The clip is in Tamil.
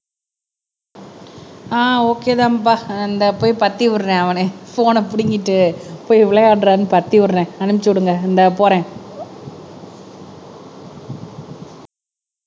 அஹ் ஒகேதான்ப்பா இந்த போய் பத்தி விடுறேன் அவன போன்ன புடிங்கிட்டு போய் விளையாடுறான்னு பத்தி விடுறேன் அனுப்பிச்சு விடுங்க இந்தா போறேன்